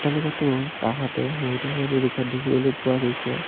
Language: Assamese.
এলেকাটোৰ কাষতে বহুতো সৰু সৰু ঘৰ দেখিবলৈ পোৱা গৈছে।